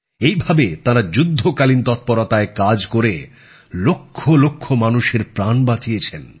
এইভাবে তাঁরা যুদ্ধকালীন তৎপরতায় কাজ করে লক্ষলক্ষ মানুষের প্রাণ বাঁচিয়েছেন